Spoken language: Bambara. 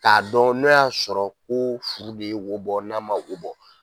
K'a dɔn n'o y'a sɔrɔ ko furu de ye wo bɔ n'a man wo bɔ.